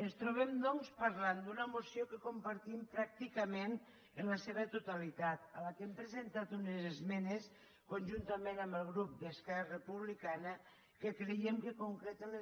ens trobem doncs parlant d’una moció que compartim pràcticament en la seva totalitat a la qual hem presentat unes esmenes conjuntament amb el grup d’esquerra republicana que creiem que concreten